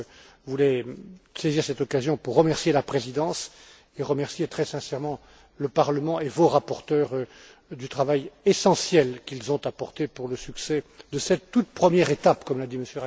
Je voulais saisir cette occasion pour remercier la Présidence et remercier très sincèrement le Parlement et vos rapporteurs du travail essentiel qu'ils ont fourni pour le succès de cette toute première étape, comme l'a dit M.